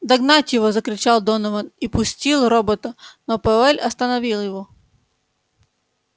догнать его закричал донован и пустил робота но пауэлл остановил его